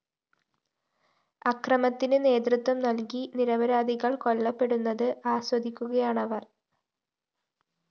അക്രമത്തിന് നേതൃത്വം നല്‍കി നിരപരാധികള്‍ കൊല്ലപ്പെടുന്നത് ആസ്വദിക്കുകയാണവര്‍